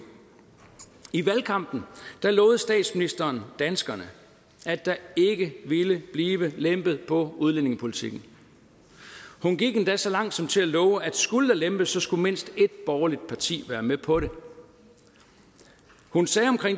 i valgkampen lovede statsministeren danskerne at der ikke ville blive lempet på udlændingepolitikken hun gik endda så langt som til at love at skulle der lempes skulle mindst ét borgerligt parti være med på det hun sagde om